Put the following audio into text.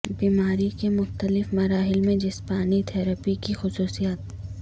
بیماری کے مختلف مراحل میں جسمانی تھراپی کی خصوصیات